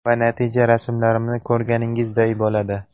Va natija rasmlarimni ko‘rganingizday bo‘ladi.